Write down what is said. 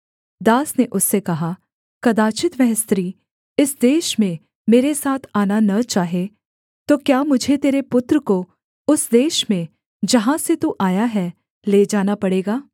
दास ने उससे कहा कदाचित् वह स्त्री इस देश में मेरे साथ आना न चाहे तो क्या मुझे तेरे पुत्र को उस देश में जहाँ से तू आया है ले जाना पड़ेगा